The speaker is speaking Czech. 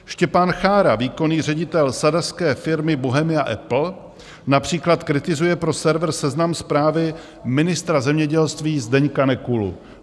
Štěpán Chára, výkonný ředitel sadařské firmy Bohemia Apple, například kritizuje pro server Seznam Zprávy ministra zemědělství Zdeňka Nekulu.